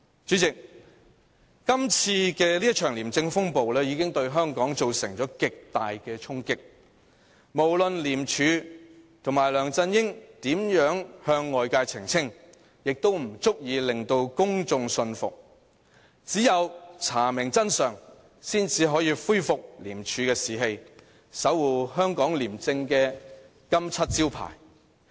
主席，這一場廉政風暴已對香港造成極大衝擊，無論廉署和梁振英如何向外界澄清，也不足以令公眾信服，只有查明真相，方可恢復廉署的士氣，守護香港廉政的金漆招牌。